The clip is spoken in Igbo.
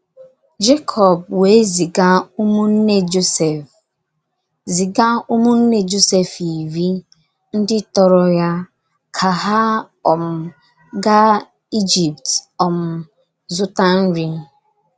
Jekọb wee ziga ụmụnne Josef ziga ụmụnne Josef iri ndị tọrọ ya ka ha um gaa Ijipt um zụta nri.